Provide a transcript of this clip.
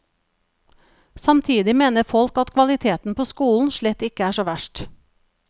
Samtidig mener folk at kvaliteten på skolen slett ikke er så verst.